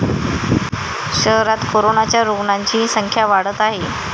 शहरात कोरोनाच्या रुग्णाची संख्या वाढत आहे.